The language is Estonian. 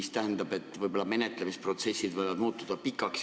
See tähendab, et menetlemisprotsessid võivad muutuda pikaks.